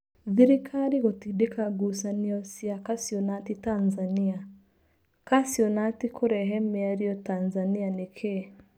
Thirikari gũtindĩka ngucanio cia kaciũnati Tanzania. Kaciũnati kũrehe mĩario Tanzania nĩkĩĩ?